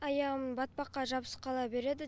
аяғым батпаққа жабысып қала береді